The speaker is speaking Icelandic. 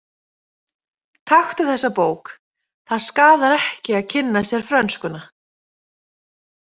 Taktu þessa bók, það skaðar ekki að kynna sér frönskuna.